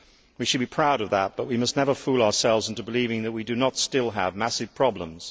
We should be proud of that but we must never fool ourselves into believing that we do not still have massive problems.